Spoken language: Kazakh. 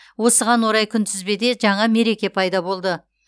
осыған орай күнтізбеде жаңа мереке пайда болды